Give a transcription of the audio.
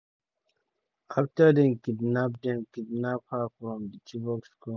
afta dem kidnap dem kidnap her um from di chibok school.